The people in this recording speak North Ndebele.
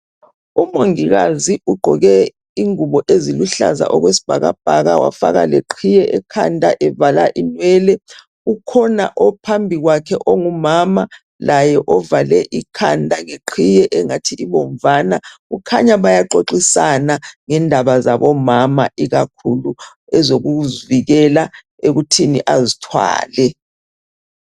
Umongikazi ugqoke amagilovisi ubambe isandla sesigulane uphethe umtshina wokuhlola itshukela emzimbeni njalo uhlola leso sigulane njalo exoxisa ngendaba zabomama ukuthi azithwale.